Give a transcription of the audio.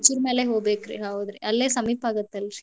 ಹೌದ್ರಿ ರಾಯಚೂರ್ ಮ್ಯಾಲೆ ಹೋಬೇಕ್ರಿ ಹೌದ್ರಿ ಅಲ್ಲೇ ಸಮೀಪಾಗತ್ತಲ್ರಿ.